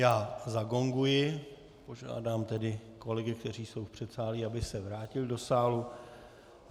Já zagonguji, požádám tedy kolegy, kteří jsou v předsálí, aby se vrátili do sálu.